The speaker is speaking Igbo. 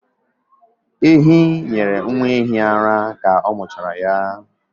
Ehi nyere nwa ehi ara ka ọ muchara ya